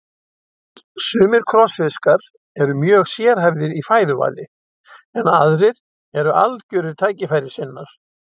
Sumir krossfiskar eru mjög sérhæfðir í fæðuvali en aðrir eru algjörir tækifærissinnar.